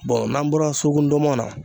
bɔn n'an bɔra suruku ndɔnmɔn na